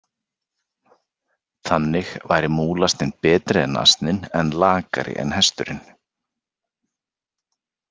Þannig væri múlasninn betri en asninn en lakari en hesturinn.